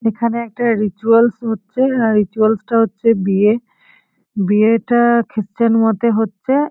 এইখানে একটা রিচুয়ালস হচ্ছে আ রিচুয়ালস -টা হচ্ছে বিয়ে বিয়েটা-আ খ্রিসচান মতে হচ্ছে।